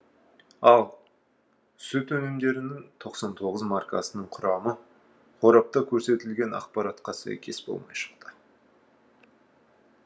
ал сүт өнімдерінің тоқсан тоғыз маркасының құрамы қорапта көрсетілген ақпаратқа сәйкес болмай шықты